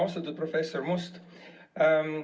Austatud professor Must!